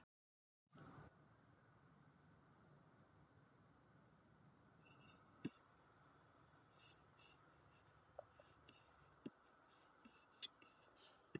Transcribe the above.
Það vona ég